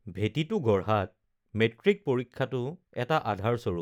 ভেঁটিটো গঢ়াত মেট্ৰিক পৰীক্ষাটো এটা আধাৰস্বৰূপ